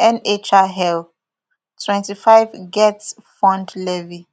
nhil twenty-five getfund levy